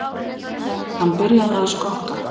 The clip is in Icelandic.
Hann byrjaði að stokka.